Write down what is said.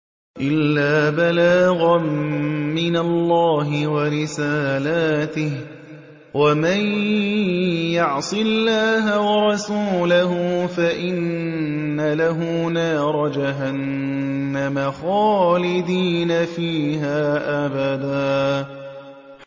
إِلَّا بَلَاغًا مِّنَ اللَّهِ وَرِسَالَاتِهِ ۚ وَمَن يَعْصِ اللَّهَ وَرَسُولَهُ فَإِنَّ لَهُ نَارَ جَهَنَّمَ خَالِدِينَ فِيهَا أَبَدًا